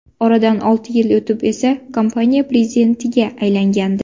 Oradan olti yil o‘tib esa kompaniya prezidentiga aylangandi.